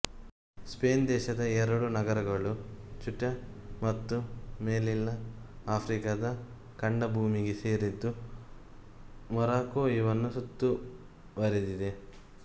Spain ದೇಶದ ಎರಡು ನಗರಗಳು ಚ್ಯುಟ ಮತ್ತು ಮೆಲಿಲ್ಲ ಆಫ್ರಿಕಾದ ಖಂಡಭೂಮಿಗೆ ಸೇರಿದ್ದು ಮೊರಾಕೊ ಇವನ್ನು ಸುತ್ತುವರೆದಿದೆ